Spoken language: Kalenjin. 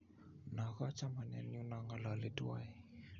no ko chamanenyu no ngalali tuwai